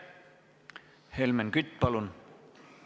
Helmen Kütt, palun!